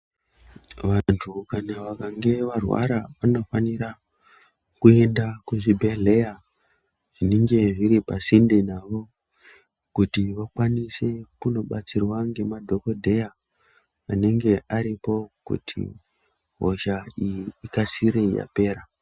Vantu kana vakange varwara vanofanira kuenda kuzvi bhedhleya zvinenge zviri pasinde navo kuti vakwanise kundo batsirwa ngema dhokodheya anenge aripo kuti hosha iyi ikasire yapera.